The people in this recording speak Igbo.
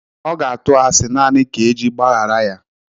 Ọ ga-atụ asị naanị ka eji gbághàrá ya.